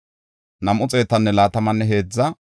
Paskora yaray 1,247;